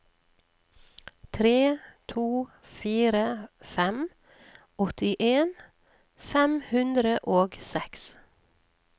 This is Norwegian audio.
tre to fire fem åttien fem hundre og seks